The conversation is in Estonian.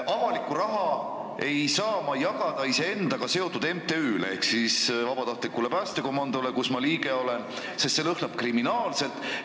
Ma ei saa jagada avalikku raha iseendaga seotud MTÜ-le ehk vabatahtlikule päästekomandole, mille liige ma olen, sest see lõhnab kriminaalselt.